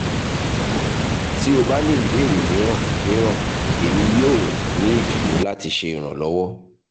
ti o ba ni ibeere miiran miiran emi yoo ni idunnu lati ṣe iranlọwọ